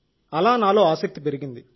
అలా నాలో ఆసక్తి పెరిగింది